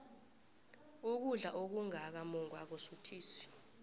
ukudla okungaka mungwa akusuthisi